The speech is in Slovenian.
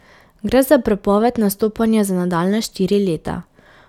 Gre za prepoved nastopanja za nadaljnja štiri leta.